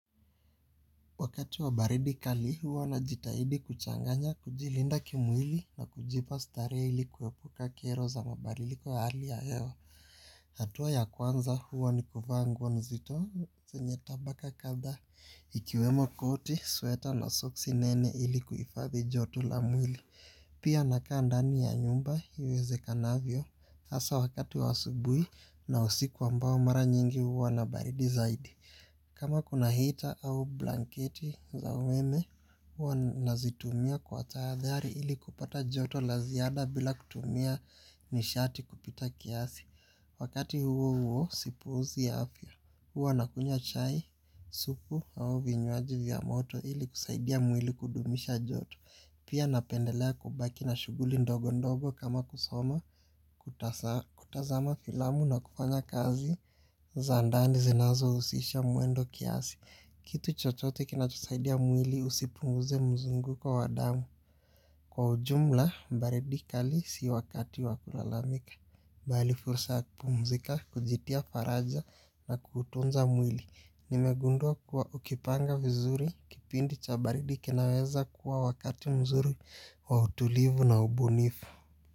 Wakati wa baridi kali huwa na jitahidi kuchanganya kujilinda kimwili na kujipa starehe ili kuepuka kero za mabadiliko wa hali ya hewa. Hatua ya kwanza huwa ni kuvaa nguo nzito zenye tabaka kadha. Ikiwemo koti, sweta la soksi nene ili kuifadhi joto la mwili. Pia nakaa ndani ya nyumba, iwezekanavyo. Asa wakati wa asubui na usiku ambao mara nyingi huwa na baridi zaidi. Kama kuna heater au blanketi za umeme, huwa nazitumia kwa taathari ili kupata joto la ziada bila kutumia nishati kupita kiasi. Wakati huo huo, sipuuzi ya afya, huwa nakunywa chai, supu au vinywaji vya moto ili kusaidia mwili kudumisha joto. Pia napendelea kubaki na shuguli ndogo ndogo kama kusoma, kutazama filamu na kufanya kazi za ndani zinazo usisha mwendo kiasi. Kitu chochote kinachosaidia mwili usipunguze mzunguko wadamu. Kwa ujumla, baridi kali si wakati wa kulalamika bali fursa ya kupumzika, kujitia faraja na kutunza mwili. Nimegundua kuwa ukipanga vizuri, kipindi cha baridi kenaweza kuwa wakati mzuri wa utulivu na ubunifu.